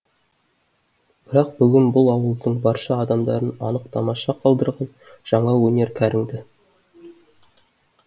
бірақ бүгін бұл ауылдың барша адамдарын анық тамаша қалдырған жаңа өнер кәріңді